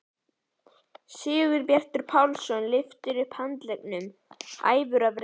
Sigurbjartur Pálsson lyftir upp handleggnum æfur af reiði.